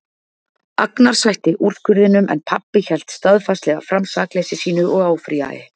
Agnar sætti úrskurðinum en pabbi hélt staðfastlega fram sakleysi sínu og áfrýjaði.